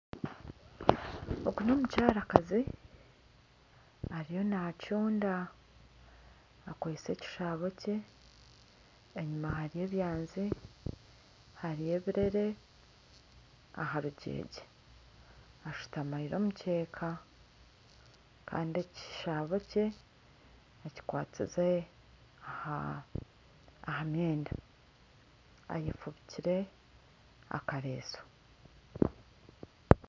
Ogu n'omukyarakazi. Ariyo naacunda. Akwise ekishaabo kye. Enyima ye hariyo ebyanzi, hariyo ebirere aha rugyegye. Ashutamiire omukyeka Kandi ekishaabo kye akikwatsize aha myenda. Ayefubikire akaresu.